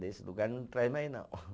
Nesse lugar não traz mais não.